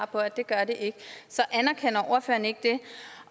på at det gør det ikke så anerkender ordføreren ikke det